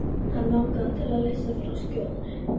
Hann langaði til að leysa frá skjóðunni.